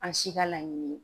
An si ka laɲini ye